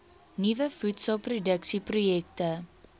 nuwe voedselproduksie projekte